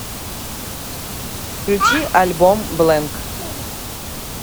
включи альбом блэнк